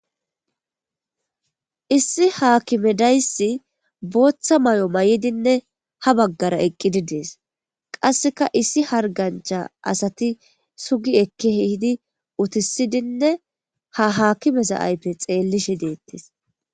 issi haakimedayssi booththa may7o may7idinne ha baggara eqqidi dees qasseka issi hargancha asati sugi ekki hehidi utisidinne ha haakimeza aype xeellishe deettes